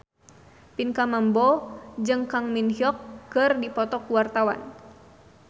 Pinkan Mambo jeung Kang Min Hyuk keur dipoto ku wartawan